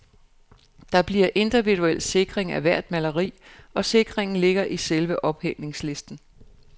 Der bliver individuel sikring af hvert maleri, og sikringen ligger i selve ophængningslisten.